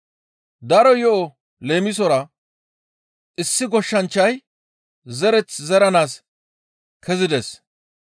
daro yo7o leemisora, «Issi goshshanchchay zereth zeranaas kezides.